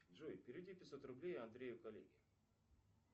джой переведи пятьсот рублей андрею коллеге